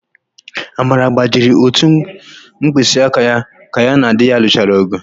Amara gbajiri ótù mkpịsịaka ka ya na di ya lụchara ọ̀gụ̀.